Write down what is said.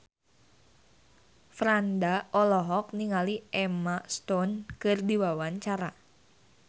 Franda olohok ningali Emma Stone keur diwawancara